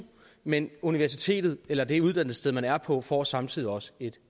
men universitetet eller det uddannelsessted man er på får samtidig også et